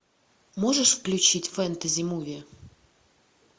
можешь включить фэнтези муви